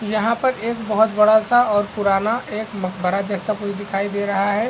यहाँ पर एक बहुत बड़ा सा और पुराना एक मकबरा जैसा कुछ दिखाई दे रहा है।